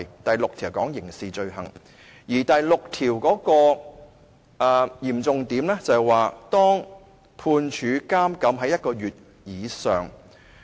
第六項是有關刑事罪行的，而第六項的嚴重之處是判處監禁1個月以上。